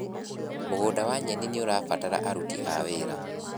Mũgunda wa nyeni nĩũrabatara aruti a wĩra.